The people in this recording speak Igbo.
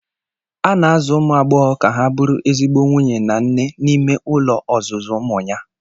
A na-azụ ụmụ agbọghọ ka ha bụrụ ezigbo nwunye na nne n'ime ụlọ ozuzu Umunya.